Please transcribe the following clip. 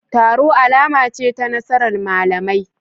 Taro alama ce ta nasarar malamai